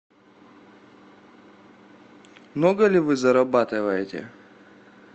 много ли вы зарабатываете